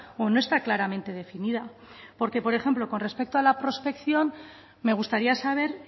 o no está claramente definida por ejemplo con respecto a la prospección me gustaría saber